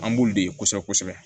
An b'ulu de kosɛbɛ kosɛbɛ kosɛbɛ